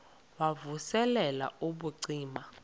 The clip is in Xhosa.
wav usel ubucima